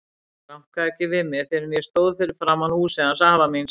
Ég rankaði ekki við mér fyrr en ég stóð fyrir framan húsið hans afa míns.